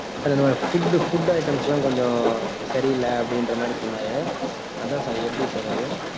sir food food items எல்லாம் கொஞ்சம், சரி இல்லை, அப்படின்ற மாதிரி சொன்னாரு. அதான் sir எப்படி sir அது?